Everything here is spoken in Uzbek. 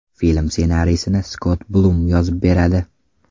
Film ssenariysini Skott Blum yozib beradi.